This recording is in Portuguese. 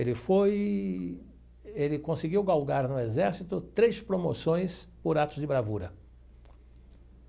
Ele foi ele conseguiu galgar no exército três promoções por atos de bravura.